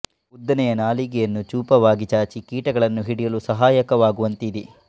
ಉದ್ದನೆಯ ನಾಲಿಗೆಯನ್ನು ಚೂಪವಾಗಿ ಚಾಚಿ ಕೀಟಗಳನ್ನು ಹಿಡಿಯಲು ಸಹಾಯಕವಾಗುವಂತೆ ಇದೆ